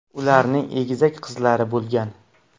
Ularning egizak qizlari bo‘lgan.